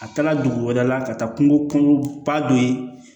A taala dugu wɛrɛ la ka taa kungo kɔnɔgye